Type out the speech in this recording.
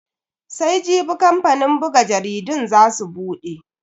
Sai Jibi kamfanin buga jaridun za su bude.